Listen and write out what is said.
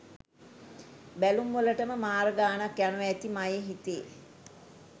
බැලුම් වලටම මාර ගානක් යනවා ඇති මයේ හිතේ